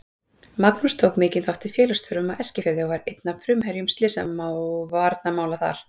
Magnús tók mikinn þátt í félagsstörfum á Eskifirði og var einn af frumherjum slysavarnamála þar.